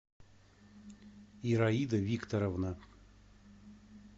ираида викторовна